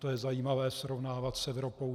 To je zajímavé srovnávat s Evropou.